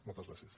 moltes gràcies